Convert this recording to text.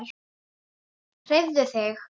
Hreyfðu þig.